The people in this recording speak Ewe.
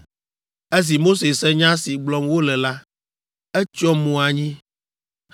Esi Mose se nya si gblɔm wole la, etsyɔ mo anyi.